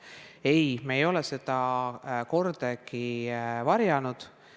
Ei, me ei ole seda kordagi varjanud.